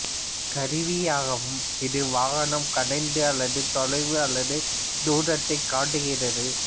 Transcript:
கருவியாகும் இது வாகனம் கடந்த தொலைவு அல்லது தூரத்தை காட்டுகிறது